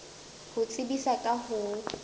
ho tsebisa ka ho o